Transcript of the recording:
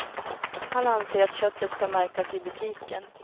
Han anser att köttet ska märkas i butiken.